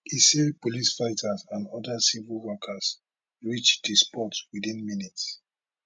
e say police firefighters and oda civic workers reach di spot within minutes